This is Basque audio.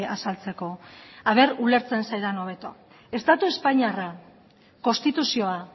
azaltzeko ea ulertzen zaidan hobeto estatu espainiarra konstituzioa